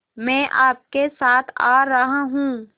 मैं आपके साथ आ रहा हूँ